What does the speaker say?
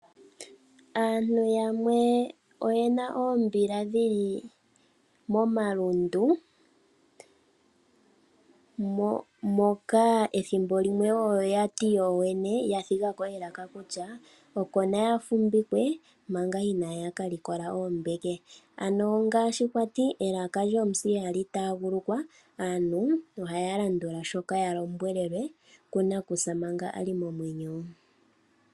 Aantu yamwe oyena oombila dhili momalundu moka ethimbo limwe oyo yati yoyene ya dhigako elako kutya oko naya fumbikwe manka inaya kalikola oombeke ano ngashi kwati elaka lyomusi ihali tagalukwa aantu ohaya landula shoka yalombwelele kunakusa manka ali momwenyo.